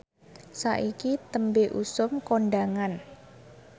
saiki tembe usum kondhangan